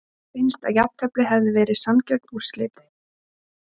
Finnst að jafntefli hefði verið sanngjörn úrslit?